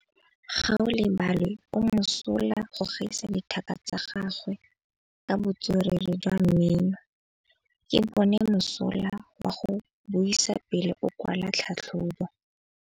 Gaolebalwe o mosola go gaisa dithaka tsa gagwe ka botswerere jwa mmino. Ke bone mosola wa go buisa pele o kwala tlhatlhobô.